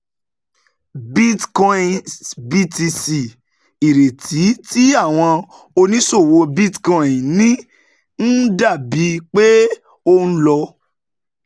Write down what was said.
Bitcoin s BTC: Ìrètí tí àwọn oníṣòwò Bitcoin ní ń dà bíi pé ó ń lọ